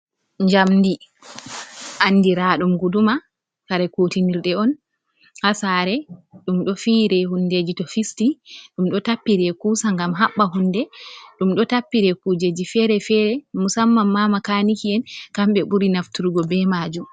Jamdi andiradum guduma. Kare kutinirde on ha sare dum do fire hundeji to fisti dum ɗo tappire kusa gam habba hunde, ɗum ɗo tappire kujeji fere-fere musamman ma makaniki'en kambe buri nafturgo be majum.